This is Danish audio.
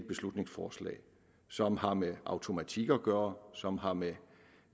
beslutningsforslag og som har med automatik at gøre som har med